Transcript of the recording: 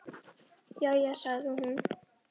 Jæja sagði hún.